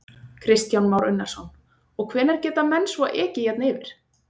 Kristján Már Unnarsson: Og hvenær geta menn svo ekið hérna yfir?